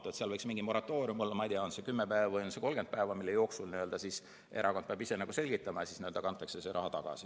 Nii et seal võiks mingi moratoorium olla, ma ei tea, on see 10 päeva või 30 päeva, mille jooksul erakond peab ise asja selgitama, ja siis kantakse see raha tagasi.